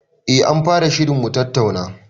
Eh anfara shirin mutattauna